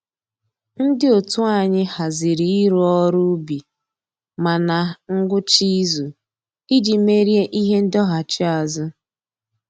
Ndị otu anyị haziri ịrụ ọrụ ubi ma na ngwụcha izu iji merie ihe ndọghachiazụ